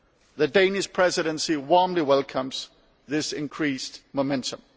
The Danish Presidency warmly welcomes this increased momentum.